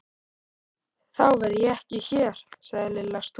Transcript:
Þá verð ég ekki hér sagði Lilla stúrin.